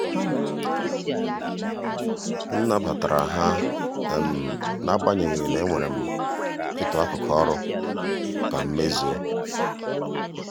m nabatara ha n'agbanyeghị na enwere um m ịtụ akụkụ ọrụ ka m um mezuo.